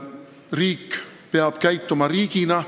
Riik peab käituma riigina.